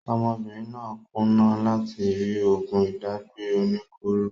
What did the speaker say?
Ọmọbìnrin náà kùnà láti rí oògùn ìdágbẹ́ oníkóro